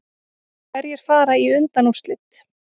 Hverjir fara í undanúrslit